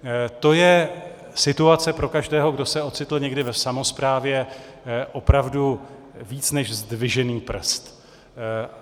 To je situace pro každého, kdo se ocitl někdy v samosprávě, opravdu víc než zdvižený prst.